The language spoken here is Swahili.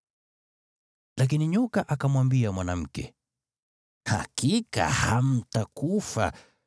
Lakini nyoka akamwambia mwanamke, “Hakika hamtakufa.